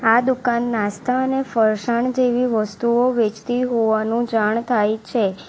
આ દુકાન નાસ્તા અને ફરસાણ જેવી વસ્તુઓ વેચતી હોવાનું જાણ થાય છે.